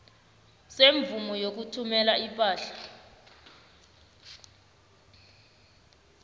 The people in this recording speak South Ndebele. semvumo yokuthumela ipahla